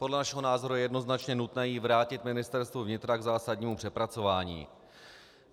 Podle našeho názoru je jednoznačně nutné ji vrátit Ministerstvu vnitra k zásadnímu přepracování.